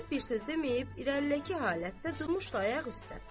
Zeynəb bir söz deməyib irəlidəki halətdə durmuşdu ayaq üstə.